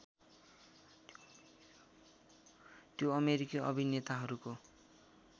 त्यो अमेरिकी अभिनेताहरूको